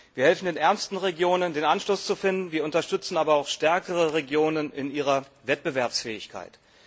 Wir helfen den ärmsten Regionen, den Anschluss zu finden, wir unterstützen aber auch stärkere Regionen in ihrer Wettbewerbsfähigkeit.